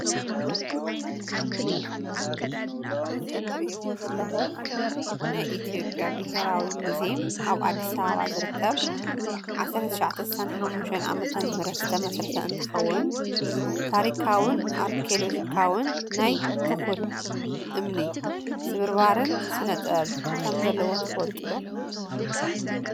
እዚ እትሪእዎ ዘለኹም ናይ ኢትዮጵያ ብሔራዊ ሙዝየም ኣብ አዲስ ኣበባ ዝርከብ 1965 ዓ/ም ዝተመስረተ እንኸውን ታሪካውን ኣርኪኦሎጂካውን ናይ ትኹል እምኒ ስብርባርን ስነ-ጥበብ ከም ዘለዎ ትፈልጡ ዶ?